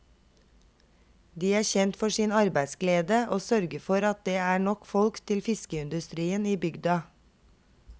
De er kjent for sin arbeidsglede og sørger for at det er nok folk til fiskeindustrien i bygda.